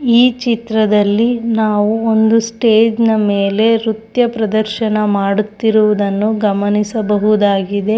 ಈ ಚಿತ್ರದಲ್ಲಿ ನಾವು ಒಂದು ಸ್ಟೇಜ್ ನ ಮೇಲೆ ನೃತ್ಯ ಪ್ರದರ್ಶನ ಮಾಡುತ್ತಿರುವುದನ್ನು ಗಮನಿಸಬಹುದಾಗಿದೆ.